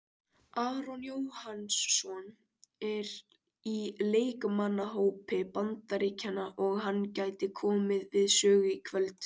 Aron Jóhannsson er í leikmannahópi Bandaríkjanna og hann gæti komið við sögu í kvöld.